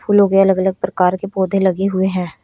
फूलों के अलग अलग प्रकार के पौधे लगे हुए हैं।